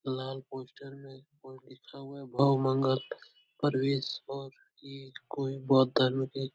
लाल poster में लिखा हुआ है बहु मंगल परवेश और ये कोई बौद्ध धर्म के --